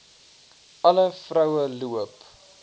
alle vroue loop